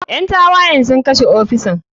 Ƴan tawayen sun kashe ofisan.